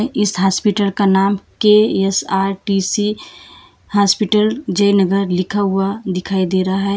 इस हॉस्पिटल का नाम के_एस_आर_टी_सी हॉस्पिटल जय नगर लिखा हुआ दिखाई दे रहा है।